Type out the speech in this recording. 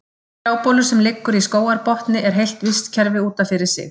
Trjábolur sem liggur í skógarbotni er heilt vistkerfi út af fyrir sig.